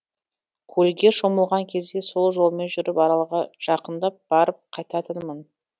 көлге шомылған кезде сол жолмен жүріп аралға жақындап барып қайтатынмын